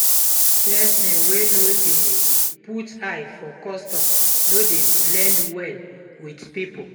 Pesin wey no dey put eye for custom no dey blend well with pipo